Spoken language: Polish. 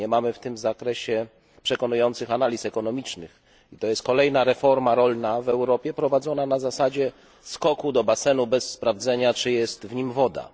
Nie mamy w tym zakresie przekonujących analiz ekonomicznych i to jest kolejna reforma rolna w Europie prowadzona na zasadzie skoku do basenu bez sprawdzenia czy jest w nim woda.